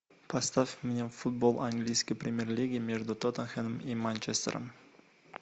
поставь мне футбол английской премьер лиги между тоттенхэмом и манчестером